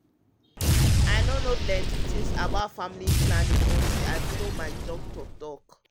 um um i no know plenty things about family planning until i follow my doci talk. um